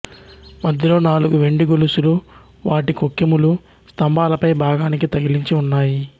మధ్యలో నాలుగు వెండి గొలుసులు వాటి కొక్కెములు స్తంభాల పై భాగానికి తగిలించి ఉన్నాయి